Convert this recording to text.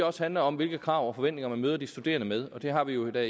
også handler om hvilke krav og forventninger man møder de studerende med og det har vi jo da